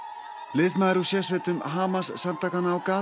liðsmaður úr sérsveitum Hamas samtakanna á